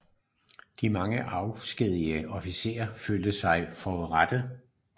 De mange afskedigede officerer følte sig forurettede